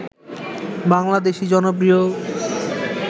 বাংলাদেশী জনপ্রিয়